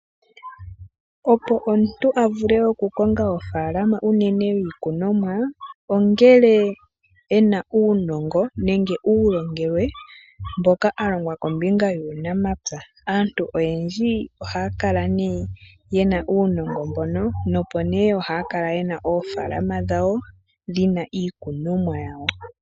Opo omuntu a vule okukonga ofaalama unene yiikunomwa, ongele e na uunongo nenge uulongelwe mboka a longwa kombinga yuunamapya. Aanafaalama oyendji ohaya kala ye na uunongo mboka, ohaya kala ye na oofaalama dhawo dhi na iikunomwa yawo.